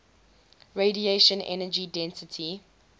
radiation energy density